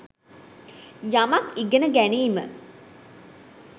යමක් ඉගෙන ගැනීම